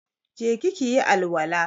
Je ki ki yi alwala!